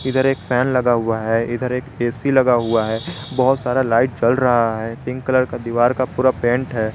इधर एक फैन लगा हुआ है इधर एक ऐ_सी लगा हुआ है बहुत सारा लाइट जल रहा है पिंक कलर का दीवार का पूरा पेंट है।